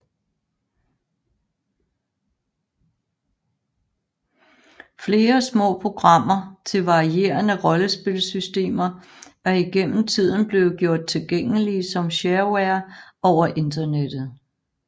Flere små programmer til varierende rollespilsystemer er igennem tiden blevet gjort tilgængelige som shareware over Internettet